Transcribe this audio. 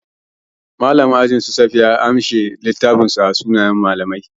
Mallamin ajin su safiya ya ajiye littafin sunayensu a ofishin mallamai.